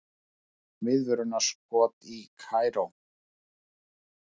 Viðvörunarskot í Kaíró